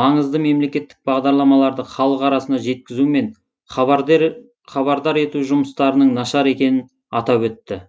маңызды мемлекеттік бағдарламаларды халық арасына жеткізу мен хабардар ету жұмыстарының нашар екенін атап өтті